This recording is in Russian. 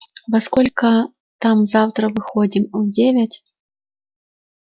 во сколько там завтра выходим в девять